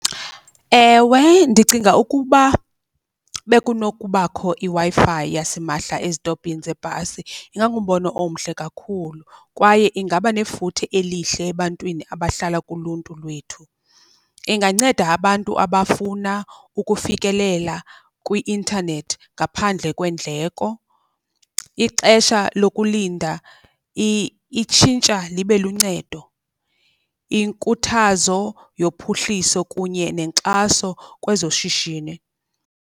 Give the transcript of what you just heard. Ewe, ndicinga ukuba bekunokubakho iWi-Fi yasimahla ezitopini zebhasi ingangumbono omhle kakhulu, kwaye ingaba nefuthe elihle ebantwini abahlala kuluntu lwethu. Inganceda abantu abafuna ukufikelela kwi-intanethi ngaphandle kweendleko. Ixesha lokulinda itshintsha libe luncedo, inkuthazo yophuhliso kunye nenkxaso kwezoshishini.